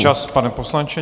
Čas, pane poslanče.